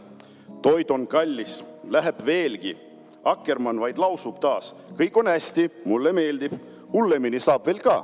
Toit on kallis, läheb veelgi, Akkermann vaid lausub taas: "Kõik on hästi, mulle meeldib, hullemini saab veel ka."